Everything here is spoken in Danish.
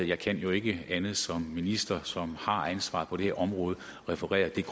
jeg kan jo ikke andet som minister som har ansvaret på det her område end at referere det